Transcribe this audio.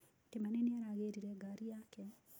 Kimani nĩ aragĩrire ngaari yake.